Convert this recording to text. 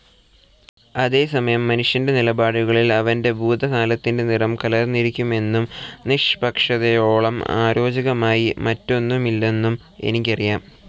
അതേസമയം മനുഷ്യന്റെ നിലപാടുകളിൽ അവന്റെ ഭൂതകാലത്തിന്റെ നിറം കലർന്നിരിക്കുമെന്നും നിഷ്പക്ഷതയോളം അരോചകമായി മറ്റൊന്നുമില്ലെന്നും എനിക്കറിയാം.